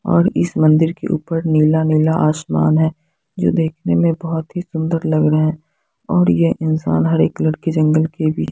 और इस मंदिर के ऊपर नीला नीला आसमान है जो देखने मे बहुत ही सुन्दर लग रहे है और ये इंसान हरे कलर के जंगल के बीच--